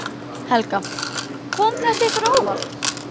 Helga: Kom þetta ykkur á óvart?